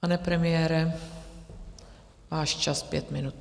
Pane premiére, váš čas - pět minut.